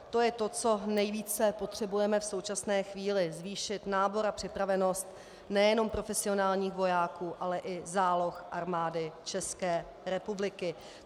To je to, co nejvíce potřebujeme v současné chvíli - zvýšit nábor a připravenost nejenom profesionálních vojáků, ale i záloh Armády České republiky.